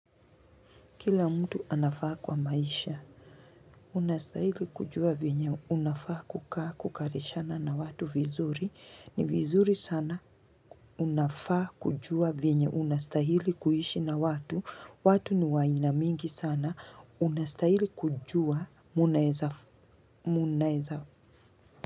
Kila mtu anafaa kwa maisha. Unastahili kujua venye. Unafaa kukaa kukarishana na watu vizuri. Ni vizuri sana. Unafaa kujua vinyo. Unastahili kuhishi na watu. Watu ni wa aina mingi sana. Unastahili kujua. Munaeza.